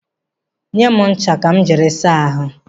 Nye m ncha ka m jiri saa ahụ.